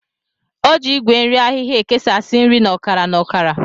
O ji Igwe nri ahịhịa ekesasị nri na ọkara na ọkara.